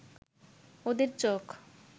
ওদের চোখ